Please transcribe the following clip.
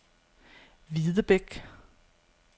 Videbæk